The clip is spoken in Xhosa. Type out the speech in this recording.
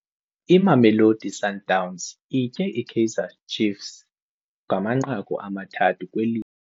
Imamelosi Sundowns itye iKaizer Ciefs ngamanqaku amathathu kwelinye.